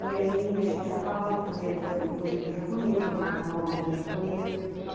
E aí a gente acabava fazendo, por exemplo, o cozido japonês, o macarrão, a moda japonesa.